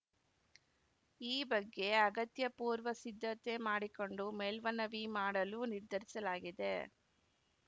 ಈ ಬಗ್ಗೆ ಅಗತ್ಯ ಪೂರ್ವ ಸಿದ್ಧತೆ ಮಾಡಿಕೊಂಡು ಮೇಲ್ಮನವಿ ಮಾಡಲು ನಿರ್ಧರಿಸಲಾಗಿದೆ